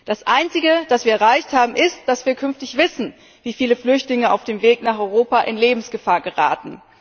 Das Einzige, das wir erreicht haben, ist, dass wir künftig wissen, wie viele Flüchtlinge auf dem Weg nach Europa in Lebensgefahr geraten.